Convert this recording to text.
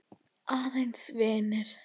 Aðeins vinir.